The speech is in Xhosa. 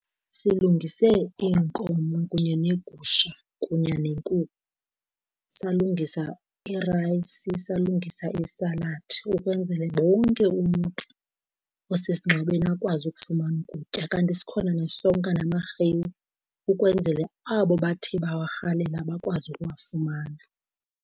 Silungise iinkomo kunye neegusha kunye nenkukhu, salungisa irayisi, salungisa isaladi ukwenzele bonke umntu osesingcwabeni akwazi ukufumana ukutya. Kanti sikhona nesonka namarhewu, ukwenzele abo bathe bawarhalela bakwazi ukuwafumana.